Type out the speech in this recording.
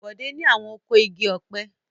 Bọ̀dé ni àwọn oko igi ọ̀pẹ.